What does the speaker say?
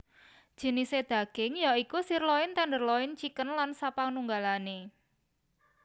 Jinisé daging ya iku sirloin tenderloin chicken lan sapanunggalane